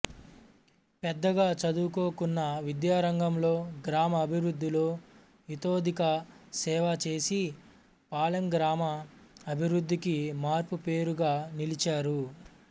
పెద్దగా చదువుకోకున్నా విద్యారంగంలో గ్రామ అభివృద్ధిలో ఇతోధిక సేవ చేసి పాలెం గ్రామ అభివృద్ధికి మార్పుపేరుగా నిలిచారు